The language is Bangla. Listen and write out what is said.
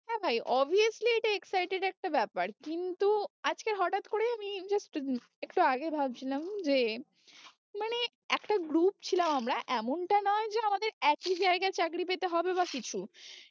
হ্যাঁ ভাই obviously এটা excited একটা ব্যাপার কিন্তু আজকে হঠাৎ করে আমি just একটু আগে ভাবছিলাম যে মানে একটা group ছিলাম আমরা এমনটা নয় যে আমাদের একই জায়গায় চাকরি পেতে হবে বা কিছু